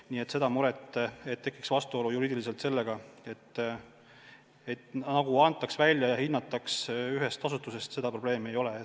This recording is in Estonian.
Nii et seda muret, et tekib juriidiline vastuolu selle tõttu, nagu luba antaks välja ja seda hinnataks ühes asutuses, ei ole.